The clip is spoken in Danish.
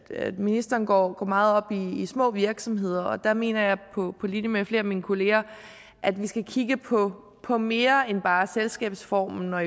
ministeren går meget op i små virksomheder der mener jeg på linje med flere af mine kolleger at vi skal kigge på på mere end bare selskabsformen og